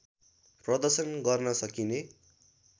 प्रदर्शन गर्न सकिने